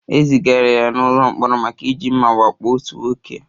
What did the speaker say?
E zigara ya n'ụlọ mkpọrọ maka iji mma wakpo otu nwoke.